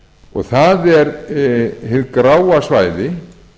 og það er hið gráa svæði